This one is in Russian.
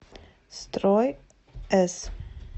строй с